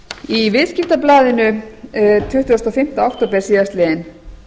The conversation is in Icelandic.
í viðskiptablaðinu tuttugasta og fimmta október síðastliðinn